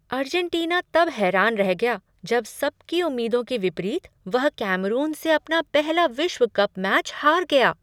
Argentina तब हैरान रह गया जब सबकी उम्मीदों के विपरीत वह कैमरून से अपना पहला विश्व कप मैच हार गया।